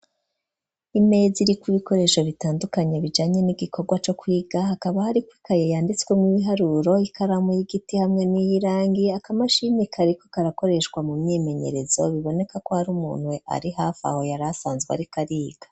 Imeza, iriko ibikoresho bitandukanye, bijanye n'igikorwa co kwiga; hakaba hariko ikaye, yanditswemwo ibiharuro, ikaramu y'igiti, hamwe n'iy'irangi, akamashini kariko karakoreshwa, mu myimenyerezo; biboneka ko, hari umuntu, ari hafi aho, yari asanzwe ariko ariga.